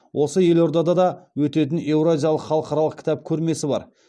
осы елордада да өтетін еуразиялық халықаралық кітап көрмесі бар